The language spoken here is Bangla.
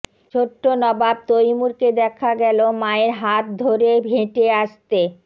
ছোট্ট নবাব তৈমুরকে দেখা গেল মায়ের হাত ধরে হেঁটে আসতে